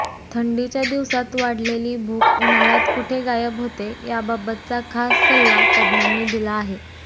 थंडीच्या दिवसात वाढलेली भूक उन्हाळ्यात कुठे गायब होते याबाबतचा खास सल्ला तज्ञांनी दिला आहे